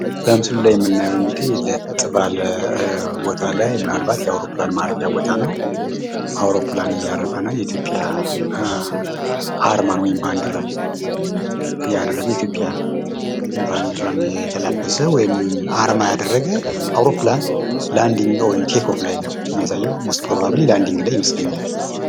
ይህ በምስሉ ላይ የምናየው አንግድህ ለጥ ባለ የ አወሮፕላን ማረፊያ ይታየናል። በማረፍ ላይ አያለ የሚያሳይ ምስል ነው።